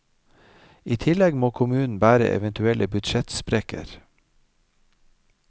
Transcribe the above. I tillegg må kommunen bære eventuelle budsjettsprekker.